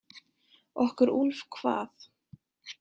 Okkur Úlf hvað?